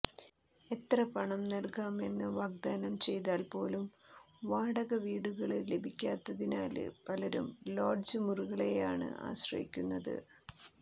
എത്ര പണം നല്കാമെന്ന് വാഗ്ദാനം ചെയ്താല് പോലും വാടക വീടുകള് ലഭിക്കാത്തതിനാല് പലരും ലോഡ്ജ് മുറികളെയാണ് ആശ്രയിക്കുന്നത്